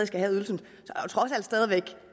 skal have ydelsen